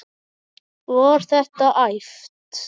Var þetta æft?